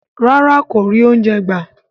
Rárá kò rí oúnjẹ gbà.